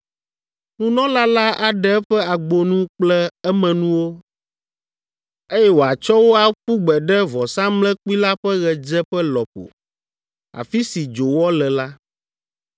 Nunɔla la aɖe eƒe agbonu kple emenuwo, eye wòatsɔ wo aƒu gbe ɖe vɔsamlekpui la ƒe ɣedzeƒe lɔƒo, afi si dzowɔ le la.